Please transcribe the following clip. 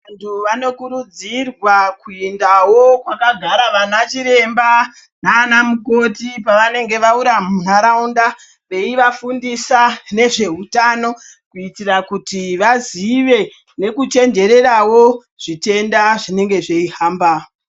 Vantu vanokurudzirwa kuendawo pakagara ana chiremba nanmukoti pavanenge vauya mundaraunda veivafundisa nezveutano kuitira kuti vazive nekuchenjererawo zvitenda zvinenge zveihamba.